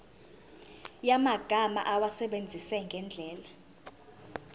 yamagama awasebenzise ngendlela